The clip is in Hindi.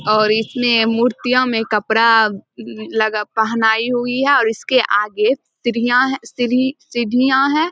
और इसमें मूर्तियो में कपड़ा अ लगा पहनाई हुई है और इसके आगे सीरियां सीढ़ियां हैं |